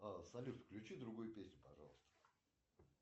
а салют включи другую песню пожалуйста